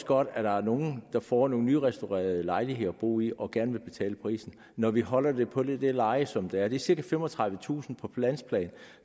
godt at der er nogle der får nogle nyrestaurerede lejligheder at bo i og gerne vil betale prisen når vi holder det på det leje som det er det er cirka femogtredivetusind på landsplan